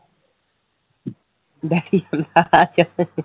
daddy ਹੁੰਦਾ ਹਾਂ